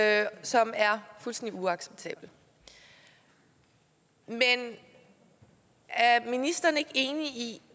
af det som er fuldstændig uacceptabel men er ministeren ikke enig i